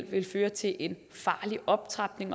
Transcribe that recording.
ville føre til en farlig optrapning